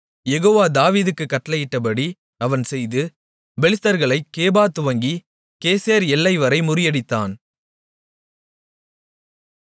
யெகோவா தாவீதுக்குக் கட்டளையிட்டபடி அவன் செய்து பெலிஸ்தர்களைக் கேபா துவங்கிக் கேசேர் எல்லைவரை முறியடித்தான்